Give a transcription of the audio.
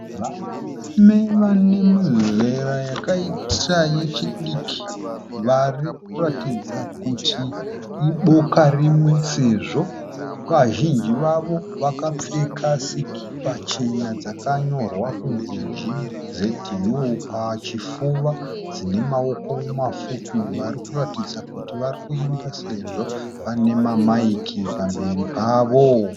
Varume vane mazera akaita echidiki vari kuratidza kuti iboka rimwe sezvo vazhinji vavo vakapfeka sikipa chena dzakanyorwa kunzi GZU pachifuva dzine maoko mafupi. Vari kuratidza kuti vari kuimba sezvo vaine mamaiki pamberi pavo.